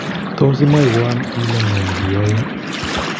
Tot imwowon ile ngo negiyoin